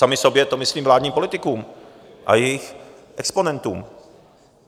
Sami sobě, to myslím vládním politikům a jejich exponentům.